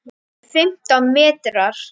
Rúmir fimmtán metrar.